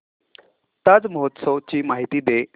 ताज महोत्सव ची माहिती दे